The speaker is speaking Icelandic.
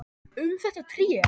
Um þetta tré.